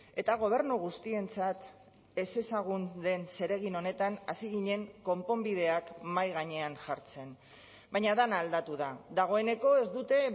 eta gobernu guztientzat ezezagun den zeregin honetan hasi ginen konponbideak mahai gainean jartzen baina dena aldatu da dagoeneko ez dute